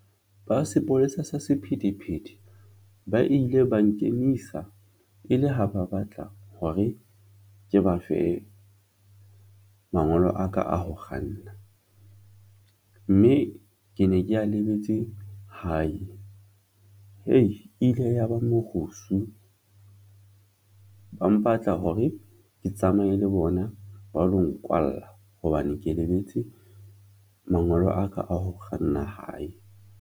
Ba sepolesa sa sephethephethe ba ile ba nkemisa e le ha ba batla hore ke ba fe mangolo a ka a ho kganna mme ke ne ke a lebetse hae ile ya ba morusu ba mpatla hore ke tsamaye le bona ba lo nkwalla hobane ke lebetse mangolo a ka a ho kganna hae.